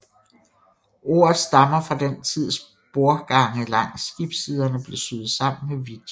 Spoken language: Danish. Ordet stammer fra den tids bordgange langs skibssiderne blev syet sammen med vidjer